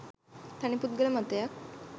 තනිපුද්ගල මතයක්